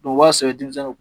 O b'a sɛbɛ denmisɛnw kun.